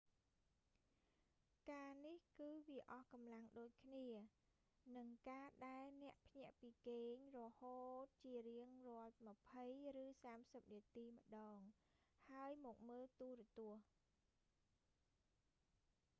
ការនេះគឺវាអស់កម្លាំងដូចគ្នានឹងការដែលអ្នកភ្ញាក់ពីគេងរហូតជារៀងរាល់ម្ភៃ ឬសាមសិបនាទីម្តង ហើយមកមើលទូរទស្សន៍